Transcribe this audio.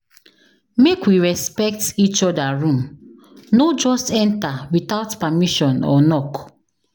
Make we respect each other room, no just enter without permission or knock.